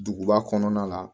Duguba kɔnɔna la